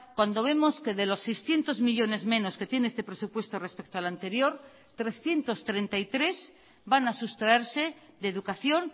cuando vemos que de los seiscientos millónes menos que tiene este presupuesto respecto al anterior trescientos treinta y tres van a sustraerse de educación